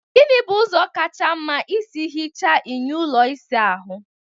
Gịnị bụ ụzọ kacha mma isi hichaa enyo ụlọ ịsa ahụ?